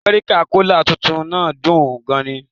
American cola' tuntun náà dùn ún gan ni